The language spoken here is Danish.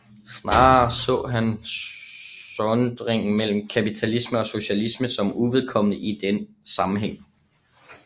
Snarere så han sondringen mellem kapitalisme og socialisme som uvedkommende i den sammenhæng